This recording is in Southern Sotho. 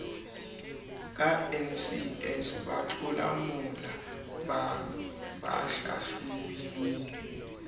ka ncs batlolamolao ba hlahlobilweng